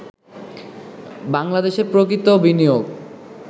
বাংলাদেশে প্রকৃত বিনিয়োগ